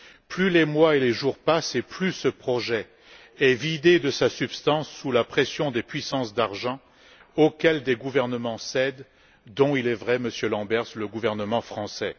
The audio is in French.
Plus les mois et les jours passent, plus ce projet est vidé de sa substance sous la pression des puissances d'argent auxquelles des gouvernements cèdent, y compris, il est vrai, Monsieur Lamberts, le gouvernement français.